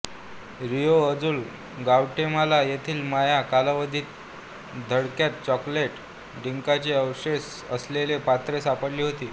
Rio Azul Guatemala येथील माया कालावधीतील थडग्यात चॉकोलेट ड्रिंकचे अवशेष असलेली पात्रे सापडली होती